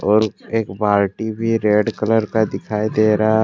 और एक बाल्टी भी रेड कलर का दिखाई दे रहा।